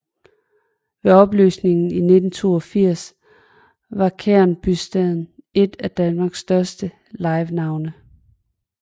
Ved opløsningen i 1982 var Kræn Bysteds et af Danmarks største livenavne